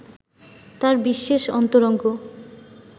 তার বিশেষ অন্তরঙ্গ